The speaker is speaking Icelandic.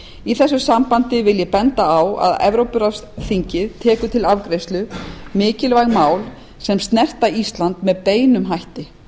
í þessu sambandi vil ég benda á að þingið tekur til afgreiðslu mikilvæg mál sem snerta ísland með beinum hætti